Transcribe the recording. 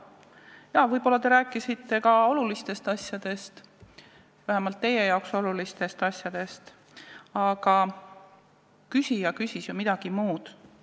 Jaa, võib-olla te rääkisite ka olulistest asjadest, vähemalt teie jaoks olulistest asjadest, aga küsija küsis ju midagi muud.